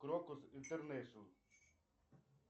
крокус интернешнл